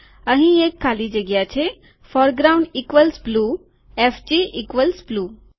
અહીં એક ખાલી જગ્યા છે foreground equals blue FG equals blue